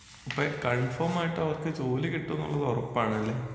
അപ്പഴ് കൺഫോമായിട്ടവർക്ക് ജോലി കിട്ടുമെന്നുള്ളത് ഉറപ്പാണല്ലേ?